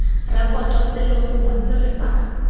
rekoto selo gongwe sere fa